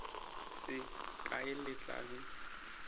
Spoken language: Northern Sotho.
se kae le tla be